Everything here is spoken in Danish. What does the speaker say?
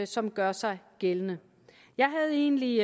som gør sig gældende jeg havde egentlig